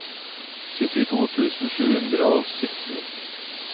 syttito tusen sju hundre og sytten